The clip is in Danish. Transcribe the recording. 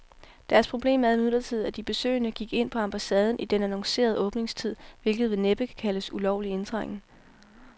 Deres problem er imidlertid, at de besøgende gik ind på ambassaden i den annoncerede åbningstid, hvilket vel næppe kan kaldes ulovlig indtrængen.